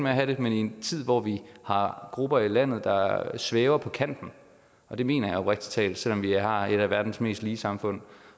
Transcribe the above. at have det men i en tid hvor vi har grupper i landet der svæver på kanten og det mener jeg oprigtig talt selv om vi har et af verdens mest lige samfund